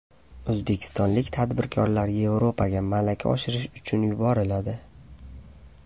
O‘zbekistonlik tadbirkorlar Yevropaga malaka oshirish uchun yuboriladi.